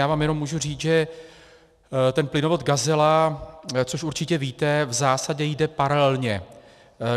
Já vám jenom mohu říct, že ten plynovod Gazela, což určitě víte, v zásadě jde paralelně.